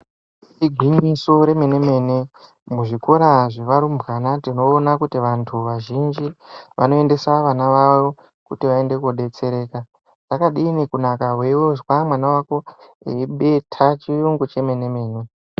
Igwinyiso remene mene muzvikora zvevarumbwana tinoona kuti vantu vazhinji vanoendesa vana vavo kuti vaende koobetsereka, zvakadiini kunaka weizwa mwana wako eibeta chiyungu chemene mene.